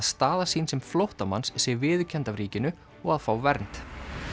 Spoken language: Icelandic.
staða sín sem flóttamanns sé viðurkennd af ríkinu og að fá vernd